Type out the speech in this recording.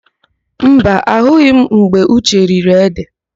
Mba, ahụghị m mgbe Uche riri édè.